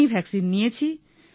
আমি ভাক্সিন নিয়েছি